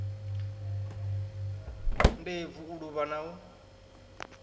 ndebvu u luvha na u